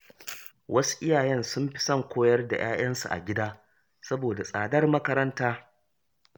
Wasu iyayen sun fi son koyar da ‘ya’yansu a gida saboda tsadar makaranta.